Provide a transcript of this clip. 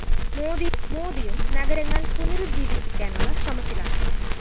മോദിയും നഗരങ്ങള്‍ പുനരുജ്ജീവിപ്പിക്കാനുള്ള ശ്രമത്തിലാണ്